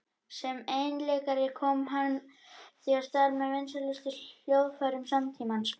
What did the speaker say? Sem einleikari kom hann því á stall með vinsælustu hljóðfærum samtímans.